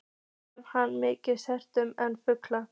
Þarf hann minna svefn en fugl.